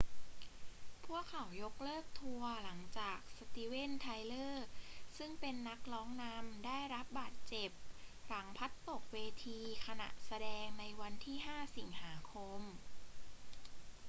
พวกเขายกเลิกทัวร์หลังจากสตีเวน ไทเลอร์ ซึ่งเป็นนักร้องนำได้รับบาดเจ็บหลังพลัดตกเวทีขณะแสดงในวันที่ 5 สิงหาคม